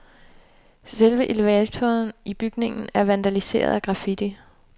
Selve elevatoren i bygningen er vandaliseret af graffiti.